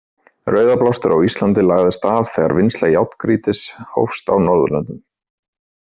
Rauðablástur á Íslandi lagðist af þegar vinnsla járngrýtis hófst á Norðurlöndum.